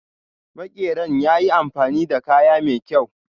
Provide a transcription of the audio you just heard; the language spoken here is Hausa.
Makeran yayi amfani da kaya mai kyaw.